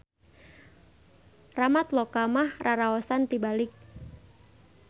Ramatloka mah raraosan tibalik.